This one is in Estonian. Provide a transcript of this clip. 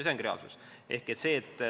See ongi reaalsus.